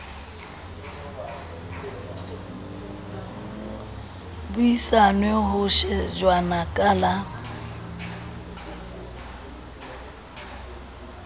buisanwe ho shejwana ka la